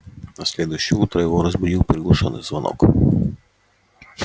на следующее утро его разбудил приглушённый звонок